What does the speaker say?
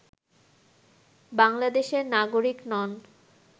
বাংলাদেশের নাগরিক নন